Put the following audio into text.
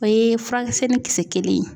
O ye furakisɛni kisɛ kelen ye.